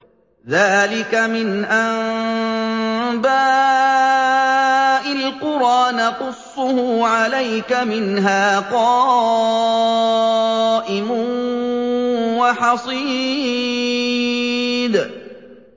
ذَٰلِكَ مِنْ أَنبَاءِ الْقُرَىٰ نَقُصُّهُ عَلَيْكَ ۖ مِنْهَا قَائِمٌ وَحَصِيدٌ